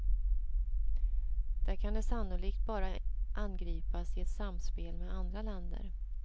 Där kan det sannolikt bara angripas i ett samspel med andra länder.